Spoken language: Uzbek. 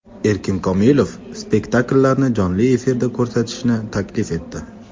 Erkin Komilov spektakllarni jonli efirda ko‘rsatishni taklif etdi.